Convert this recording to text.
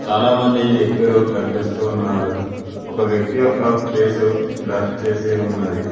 చాలామంది వ్యక్తులు కనిపిస్తూ ఉన్నారు ఒక వ్యక్తి యొక్క ఫేసు బ్లర్ చేసి ఉన్నది.